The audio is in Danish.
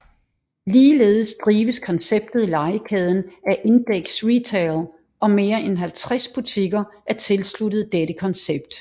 Ligeledes drives konceptet Legekæden af Indeks Retail og mere end 50 butikker er tilsluttet dette koncept